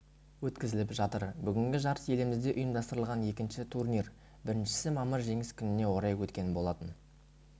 өткізіліп жатыр бүгінгі жарыс елімізде ұйымдастырылған екінші турнир біріншісі мамыр жеңіс күніне орай өткен болатын